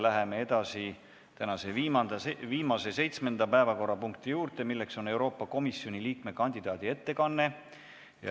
Läheme tänase viimase, seitsmenda päevakorrapunkti juurde, milleks on Euroopa Komisjoni liikme kandidaadi ettekanne.